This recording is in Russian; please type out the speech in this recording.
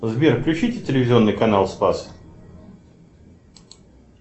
сбер включите телевизионный канал спас